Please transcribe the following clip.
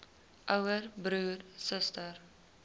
ouer broer suster